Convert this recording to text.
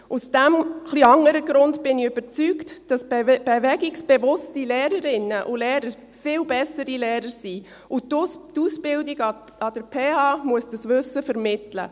Aus diesem ein wenig anderen Grund bin ich überzeugt, dass bewegungsbewusste Lehrerinnen und Lehrer viel bessere Lehrer sind, und die Ausbildung an der PH muss dieses Wissen vermitteln.